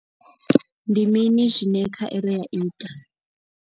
Ndi mini zwine khaelo ya ita.